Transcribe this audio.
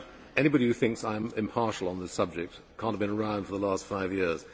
Anybody who thinks I am impartial on this subject cannot have been round for the last five years.